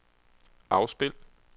afspil